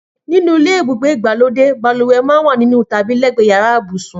Nínú ilé ibùgbé ìgbàlódé, balùwẹ̀ máa ń wà nínú tàbí lẹ́gbẹ̀ẹ́ yàrá ibùsùn